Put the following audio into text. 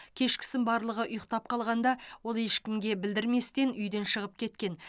кешкісін барлығы ұйықтап қалғанда ол ешкімге білдірместен үйден шығып кеткен